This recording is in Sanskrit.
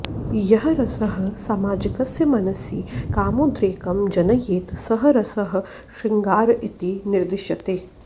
यः रसः सामाजिकस्य मनसि कामोद्रेकं जनयेत् सः रसः शृङ्गार इति निर्दिश्यते